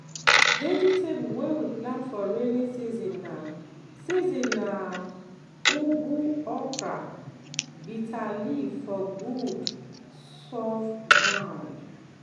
vegetable wey we plant for rainy season na season na ugu okra bitter leaf for good soft ground.